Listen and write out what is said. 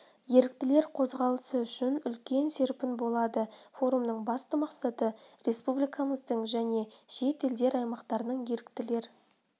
еріктілер қозғалысы үшін үлкен серпін болады форумның басты мақсаты республикамыздың және шет елдер аймақтарының еріктілер